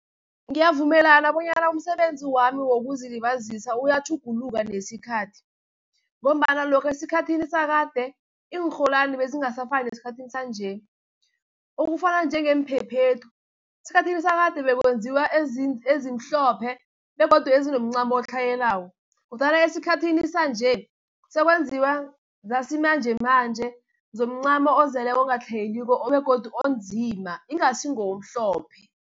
Ngiyavumelana bonyana umsebenzi wami wokuzilibazisa uyatjhuguluka nesikhathi, ngombana lokhavesikhathini sakade, iinrholwani bezingasafani nesikhathini sanje. Okufana njengeemphephethu, esikhathini sakade bekwenziwa ezimhlophe, begodu ezinomncamo otlhayelako, kodwana esikhathini sanje, sekwenziwa zasimanjemanje zomcamo ozeleko ongatlhayeliko begodu onzima, ingasi ngomhlophe.